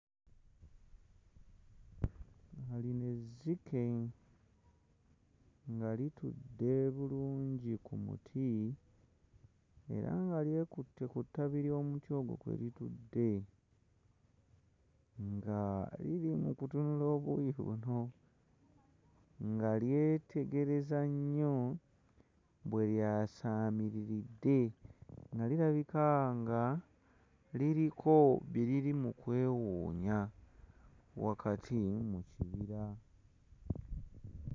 Aa lino ezzike nga litudde bulungi ku muti era nga lyekutte ku ttabi ly'omuti ogwo kwe litudde nga liri mu kutunula obuuyi buno nga lyetegereza nnyo bwe lyasaamiriridde nga lirabika nga liriko bye liri mu kwewuunya wakati mu kibira.